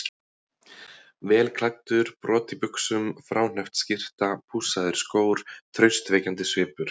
Vel klæddur, brot í buxum, fráhneppt skyrta, pússaðir skór, traustvekjandi svipur.